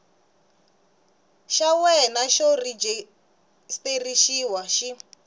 xa wena xa rejistrexini xi